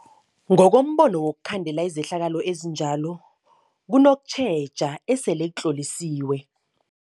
Ngokombono wokhandela izehlakalo ezinjalo kunokutjheja esele batlhorisiwe.